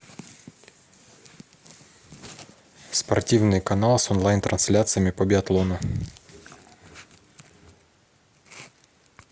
спортивный канал с онлайн трансляциями по биатлону